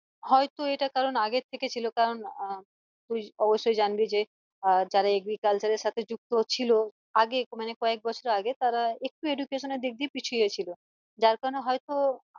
হয়তো এটা কারণ আগের থেকে ছিল কারণ আহ তুই অবশ্যই জানবি যে আহ যারা agriculture এর সাথে যুক্ত ছিল আগে মানে কয়েক বছর আগে তারা একটু education এর দিক দিয়ে পিছিয়ে গেছিলো যার কারণে হয়তো